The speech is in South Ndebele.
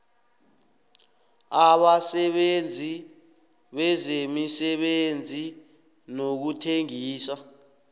abasebenzi bezemisebenzi nokuthengisa